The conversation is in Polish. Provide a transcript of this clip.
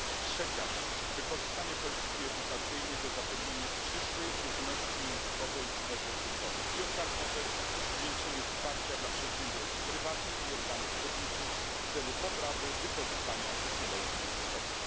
Trzecia rzecz, wykorzystanie polityki edukacyjnej do zapewnienia przyszłej równości językowej w erze cyfrowej i ostatnia rzecz zwiększenie wsparcia dla przedsiębiorstw prywatnych i organów publicznych w celu poprawy wykorzystania technologii językowych.